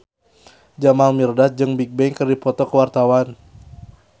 Jamal Mirdad jeung Bigbang keur dipoto ku wartawan